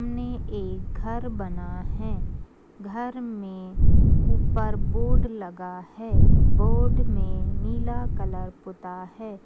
सामने एक घर बना है घर में ऊपर बोर्ड लगा है। बोर्ड में नीला कलर पुता है।